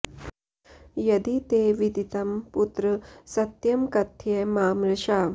यदि ते विदितं पुत्र सत्यं कथय मा मृषा